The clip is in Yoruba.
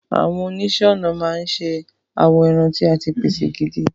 Àwọn oníṣẹ́ ọnà máa ń ṣe awọ ẹran tí a ti pèsè gidi.